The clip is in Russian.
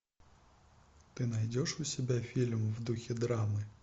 ты найдешь у себя фильм в духе драмы